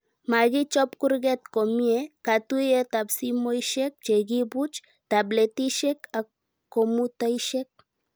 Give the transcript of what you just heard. Makichob kurket komie, katuyetab simoishek chekibuch, tabletishek ak komutaishek